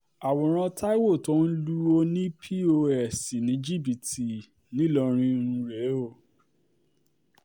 àwòrán taiwo tó ń lu ọ̀nì um pọ́s ní jìbìtì ńìlọrin um rèé